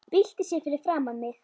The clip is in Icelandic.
Byltir sér fyrir framan mig.